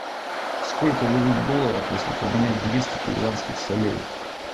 сколько дадут долларов если поменять двести перуанских солей